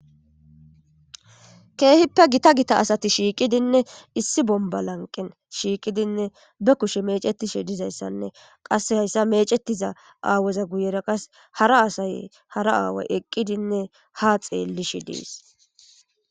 keehippe gita gita asati shiiqidinne issi bomba lanqen shiiqidinne be kushe mecetishe dizayssanne qasse hayssa mecetiza aaweza guyera qas hara asaye hara aaway eqqidinne ha xeellishi dees